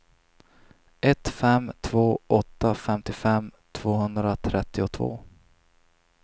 ett fem två åtta femtiofem tvåhundratrettiotvå